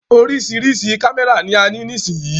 Oríṣiríṣi kámẹ́rà ni a ní nísìyí.